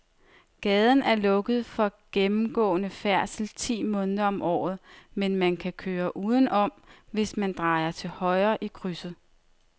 Gaden er lukket for gennemgående færdsel ti måneder om året, men man kan køre udenom, hvis man drejer til højre i krydset.